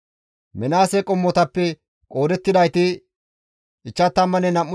Minaase qommotappe qoodettidayti 52,700 addeta.